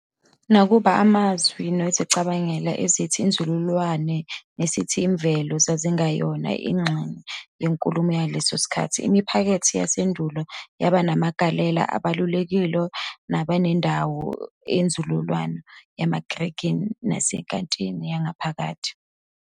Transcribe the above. Nakuba amazwi nezicabangelo ezithi 'inzululwazi' nesithi 'imvelo' zazingeyona ingxenye yenkulumo yangaleso sikhathi, imiphakathi yasendulo yaba namagalelo abalulekile naba nendawo kwinzululwazi yamaGrikhi nasenkathini ephakathi.